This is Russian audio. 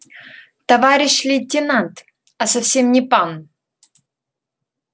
товарищ лейтенант а совсем не пан